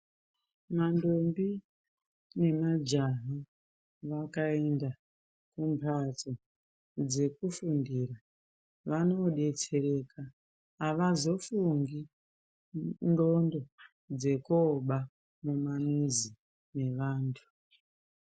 Mandombi nemajaha vakaenda kumbatso dzekufundira vanodetsereka avazofungi ndxondo dzekooba mumamizi mevanthu.